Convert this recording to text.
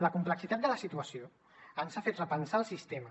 la complexitat de la situació ens ha fet repensar el sistema